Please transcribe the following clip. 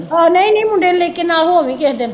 ਆਹੋ ਨਹੀਂ ਨਹੀਂ ਮੁੰਡੇ ਨੂੰ ਲੈ ਕੇ ਨਾਲ ਹੋ ਆਈ ਕਿਹੇ ਦਿਨ